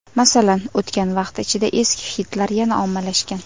Masalan, o‘tgan vaqt ichida eski xitlar yana ommalashgan.